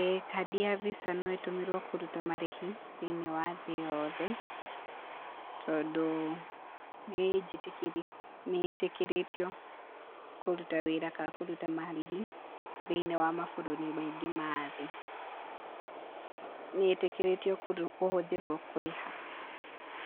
Ĩĩ kandi ya VISA no ĩtũmĩrwo kũruta marĩhi thĩ-inĩ wa thĩ yothe, tondũ nĩĩnjĩtĩkĩrĩ nĩ ĩtĩkĩrĩtio kũruta wĩra ka kũruta marĩhi thĩinĩ wa mabũrũri maingĩ ma thĩ, nĩ ĩtĩkĩrĩtio kũ kũhũthĩrwo kũrĩha